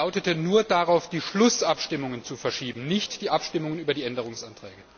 Der Antrag lautete, nur die Schlussabstimmungen zu verschieben, nicht die Abstimmung über die Änderungsanträge.